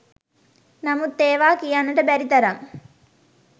නමුත් ඒවා කියන්නට බැරි තරම්